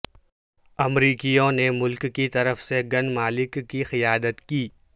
امریکیوں نے ملک کی طرف سے گن مالک کی قیادت کی